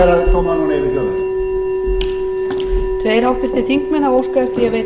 eru að koma núna yfir þjóðina